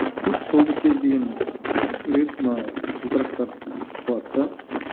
сөйтіп сол бір кез деген жігіт мана жылтырақтарды естіп қалады да